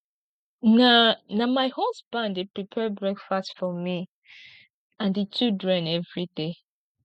na na my husband dey prepare breakfast for me and di children everyday